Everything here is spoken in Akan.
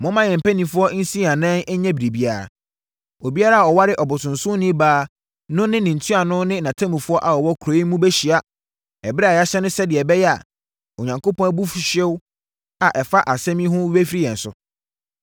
Momma yɛn mpanimfoɔ nsi yɛn anan nyɛ biribiara. Obiara a ɔware ɔbosonsomni baa no ne ntuanofoɔ ne atemmufoɔ a wɔwɔ kuro yi mu bɛhyia ɛberɛ a yɛahyɛ no sɛdeɛ ɛbɛyɛ a Onyankopɔn abufuhyeɛ a ɛfa saa asɛm yi ho no bɛfiri yɛn so.”